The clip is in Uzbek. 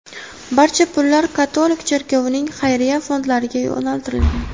Barcha pullar katolik cherkovining xayriya fondlariga yo‘naltirilgan.